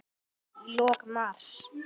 Í lok mars